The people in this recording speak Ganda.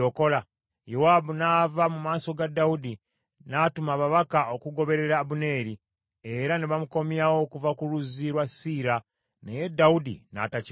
Yowaabu n’ava mu maaso ga Dawudi, n’atuma ababaka okugoberera Abuneeri, era ne bamukomyawo okuva ku luzzi lwa Siira, naye Dawudi n’atakimanya.